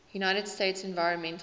united states environmental